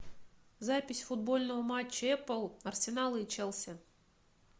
запись футбольного матча апл арсенала и челси